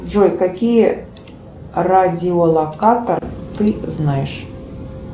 джой какие радиолокаторы ты знаешь